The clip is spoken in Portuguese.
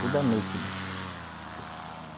Toda noite, moço.